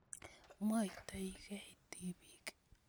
Mwoitoi kei tipiik